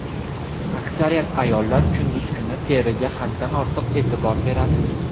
Aksariyat ayollar kunduz kuni teriga haddan ortiq e’tibor beradi.